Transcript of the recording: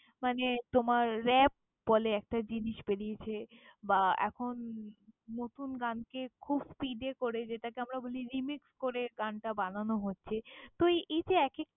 মানে তোমার রাপ বলে একটা জিনিস বেরিয়েছে বা, এখন নতুন গানকে খুব speed এ করে যেটাকে আমরা বলি remix করে গানটা বানানো হচ্ছে। তো এই যে এক এক~।